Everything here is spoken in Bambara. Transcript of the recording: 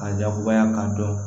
Ka jakubaya k'a dɔn